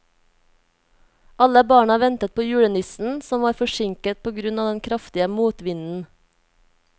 Alle barna ventet på julenissen, som var forsinket på grunn av den kraftige motvinden.